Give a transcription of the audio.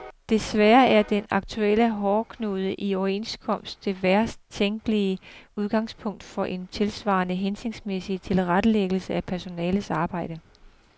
Desværre er den aktuelle hårdknude i overenskomst det værst tænkelige udgangspunkt for en tilsvarende hensigtsmæssig tilrettelæggelse af personalets arbejde.